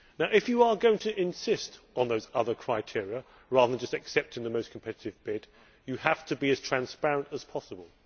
If you are going to insist on those other criteria, then rather than just accepting the most competitive bid, you have to be as transparent as possible.